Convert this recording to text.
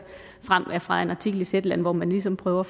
frem er fra en artikel i zetland hvor man ligesom prøver